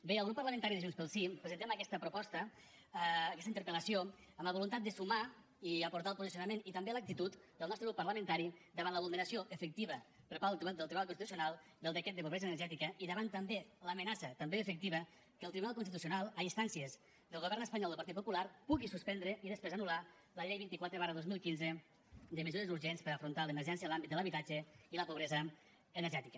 bé el grup parlamentari de junts pel sí presentem aquesta proposta aquesta interpel·lació amb la voluntat de sumar i aportar el posicionament i també l’actitud del nostre grup parlamentari davant la vulneració efectiva per part del tribunal constitucional del decret de pobresa energètica i davant també l’amenaça també efectiva que el tribunal constitucional a instàncies del govern espanyol del partit popular pugui suspendre i després anul·lar la llei vint quatre dos mil quinze de mesures urgents per afrontar l’emergència en l’àmbit de l’habitatge i la pobresa energètica